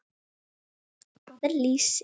Hvað er lýsi?